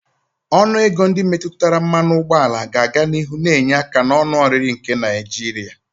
Ọnụ ego ndị metụtara mmanụ ụgbọala ga-aga n'ihu na-enye aka na onu oriri nke Naijiria.